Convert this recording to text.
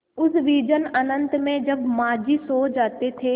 उस विजन अनंत में जब माँझी सो जाते थे